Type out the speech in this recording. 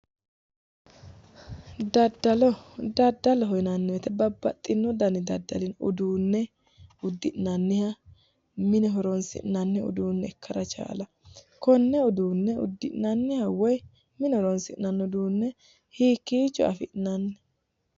Daddallo, daddallo yinnanni woyte babbaxino danni daddalli no, uduune uddi'nanniha, mine horonsi'nanni uduune ikkara chalawo, konne uduune uddi'nanniha woyi mine horonsi'nanni uduune hiikkicho afi'nanni?